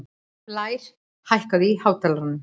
Blær, hækkaðu í hátalaranum.